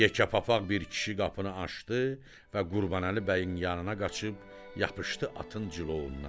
Yekə papaqlı bir kişi qapını açdı və Qurbanəli bəyin yanına qaçıb yapışdı atın cılovundan.